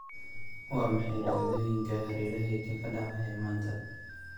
Waa maxay dhacdooyinka hareerahayga ka dhacaya maanta?